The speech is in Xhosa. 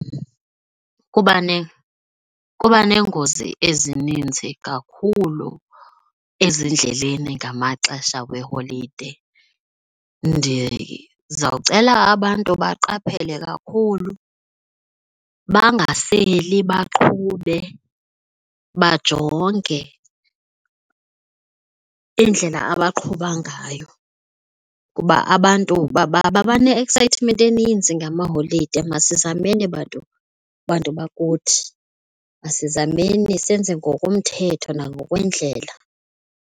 kuba neengozi ezininzi kakhulu ezindleleni ngamaxesha weeholide. Ndizawucela abantu baqaphele kakhulu bangaseli baqhube, bajonge indlela abaqhuba ngayo kuba abantu babane-excitement eninzi ngamaholide. Masizameni bantu, bantu bakuthi masizameni senze ngokomthetho nangokwendlela.